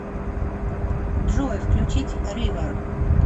джой включить ривер